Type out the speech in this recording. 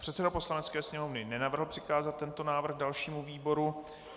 Předseda Poslanecké sněmovny nenavrhl přikázat tento návrh dalšímu výboru.